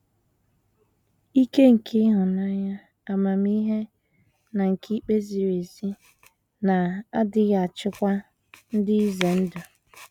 Ike, nke ịhụnanya, amamihe, na nke ikpe ziri ezi na - adịghị achịkwa dị ize ndụ.